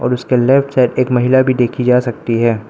उसके left side एक महिला भी देखी जा सकती है।